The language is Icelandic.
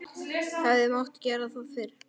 Hefði mátt gera það fyrr?